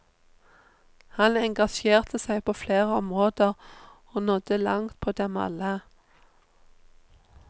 Han engasjerte seg på flere områder og nådde langt på dem alle.